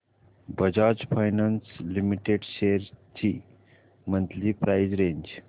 Bajaj finance limited shares ची monthly price range